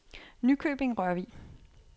Nykøbing-Rørvig